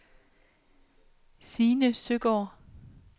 Signe Søgaard